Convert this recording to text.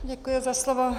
Děkuji za slovo.